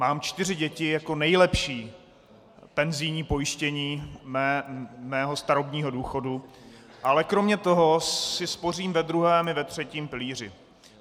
Mám čtyři děti jako nejlepší penzijní pojištění svého starobního důchodu, ale kromě toho si spořím ve druhém i ve třetím pilíři.